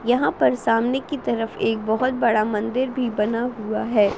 यहाँ पर सामने की तरफ एक बहोत बड़ा मंदिर भी बना हुआ है।